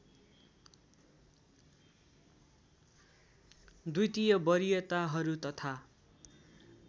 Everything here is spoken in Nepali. द्वितीय वरीयताहरू तथा